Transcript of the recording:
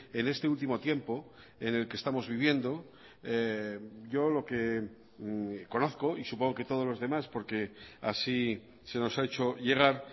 en este último tiempo en el que estamos viviendo yo lo que conozco y supongo que todos los demás porque así se nos ha hecho llegar